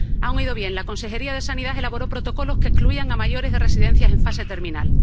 Han oído bien la Consejería de Sanidad elaboró protocolos que excluían a mayores de residencias en fase terminal.